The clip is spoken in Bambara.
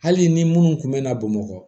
Hali ni minnu kun mɛɛnna bamakɔ